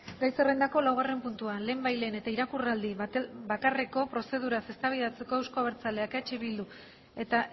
gai zerrendako laugarren puntua lehenbailehen eta irakurraldi bakarreko prozeduraz eztabaidatzeko euzko abertzaleak eh bildu eta